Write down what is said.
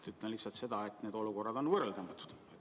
Ütlen lihtsalt seda, et need olukorrad on võrreldamatud.